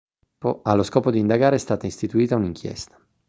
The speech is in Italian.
allo scopo di indagare è stata istituita un'inchiesta